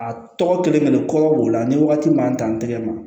A tɔgɔ kelen-kelen kɔgɔ b'o la ni wagati m'an dan n tɛgɛ ma